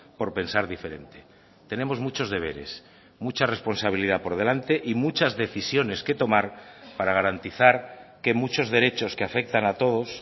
por pensar diferente tenemos muchos deberes mucha responsabilidad por delante y muchas decisiones que tomar para garantizar que muchos derechos que afectan a todos